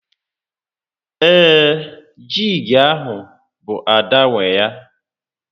Ee, jíígi ahụ bụ Ada nwé ya